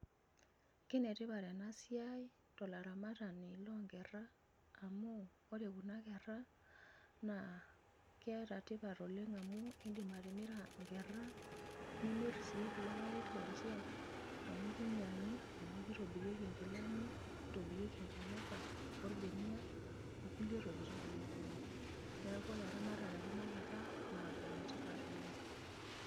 Kenetipat olarmatani loonkera amuu iyiolo kuuna keera naa keeta tipat oleng amuu iidim atimira inkera, nimir sii kuulo papit lenye amuu keinyiang'i amuu keitonirirki inkilani, neitoburirki inamuka, orbenia, okulie tokitin aake kumok. Niaku oore eramatare e kuna keera naa enetipat oleng.